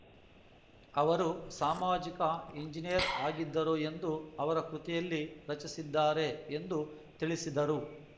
ಅವರು ಸಾಮಾಜಿಕ ಎಂಜಿನಿಯರ್‌ ಆಗಿದ್ದರು ಎಂದು ಅವರ ಕೃತಿಯಲ್ಲಿ ರಚಿಸಿದ್ದಾರೆ ಎಂದು ತಿಳಿಸಿದರು